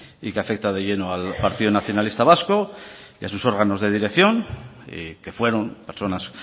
y que afecta de lleno al partido nacionalista vasco y a sus órganos de dirección que fueron personas